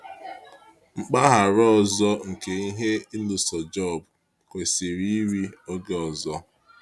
Mpaghara ọzọ nke ihe ịlụso Jọb kwesịrị iri oge ọzọ.